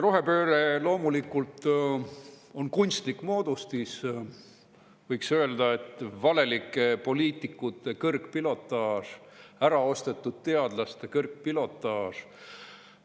Rohepööre loomulikult on kunstlik moodustis, võiks öelda, et valelike poliitikute kõrgpilotaaž, äraostetud teadlaste kõrgpilotaaž.